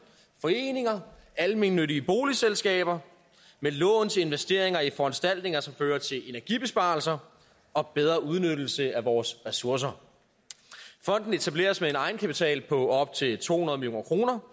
foreninger og almennyttige boligselskaber med lån til investeringer i foranstaltninger som fører til energibesparelser og bedre udnyttelse af vores ressourcer fonden etableres med en egenkapital på op til to hundrede million kroner